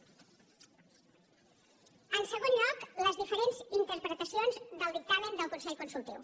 en segon lloc les diferents interpretacions del dictamen del consell consultiu